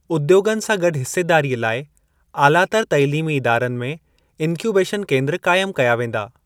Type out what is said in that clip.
उद्योगनि सां गॾु हिसेदारीअ लाइ आलातर तइलीमी इदारनि में 'इन्क्यूबेशन केंद्र' काइमु कया वेंदा।